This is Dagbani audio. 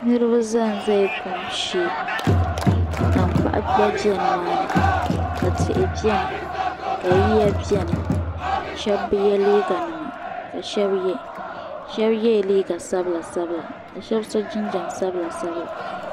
Niriba zan za la kum shee ka tankpaɣu gba bɛ nima ni ka tihi bɛni ka yiya bɛni shɛba bi yɛ liiga nima ka shɛba yɛ shɛba yɛla liiga sabila sabila ka shɛba so jinjam sabila sabila.